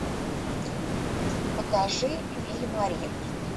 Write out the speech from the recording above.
покажи виль мари